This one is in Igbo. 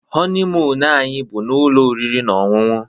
honeymoon anyị bu na ụlọ oriri na ọṅụṅụ